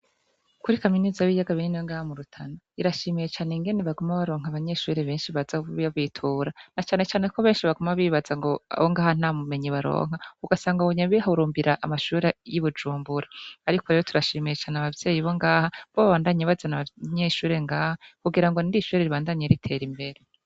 Kuri kaminuza y'ibiyaga binini yo ngaha mu Rutana, irashimiye cane ingene baguma baronka abanyeshure benshi baza babitura, na cane cane ko benshi baguma bibaza ngo abo ngaha nta bumenyi baronka, ugasanga bagumye bihurumbira amashure y'i bujumbura. Ariko rero turashimiye cane abavyeyi bo ngaha, kuko babandanya bazana abanyeshure ngaha, kugira ngo irindi ishure ribandanye ritera imbere.